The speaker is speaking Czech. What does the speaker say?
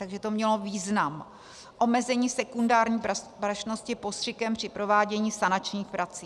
Takže to mělo význam - omezení sekundární prašnosti postřikem při provádění sanačních prací.